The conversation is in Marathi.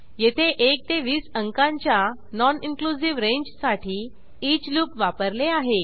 येथे 1 ते 20 अंकांच्या नॉन इनक्लुझिव्ह रेंजसाठी ईच लूप वापरले आहे